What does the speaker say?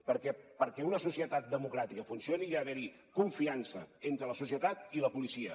perquè perquè una societat democràtica funcioni hi ha d’haver confiança entre la societat i la policia